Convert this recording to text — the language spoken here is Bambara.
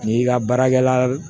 N'i ka baarakɛla